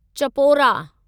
Chapora